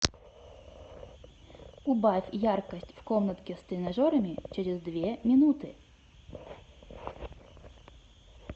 убавь яркость в комнатке с тренажерами через две минуты